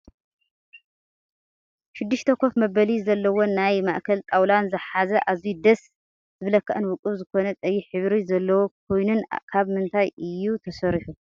ሽድሽተ ካፍ መበሊ ዘለዎን ናይ ማእከል ጣውላን ዝሓዘ ኣዝዩ ደስ ዝብለካን ውቅብ ዝኮነ ቀይሕ ሕብሪ ዘለዎ ኮይነኑ ካብ ምንታይ እዩ ተሰሪሑ?